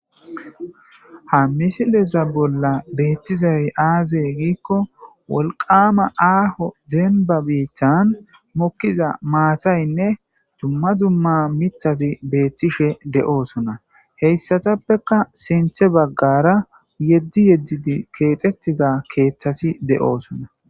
Ha misileza bolla beettizay aaze giikko wolqaama aaho dembba biithan mokkiza maathaynne dumma dumma mittati beettishe de7oosona. Heyssatappeka sinthe baggaara yedzdzi yedzdzidi keexettida keeththati de7oosona.